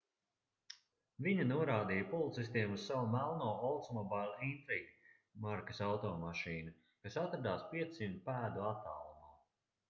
viņa norādīja policistiem uz savu melno oldsmobile intrigue markas automašīnu kas atradās 500 pēdu attālumā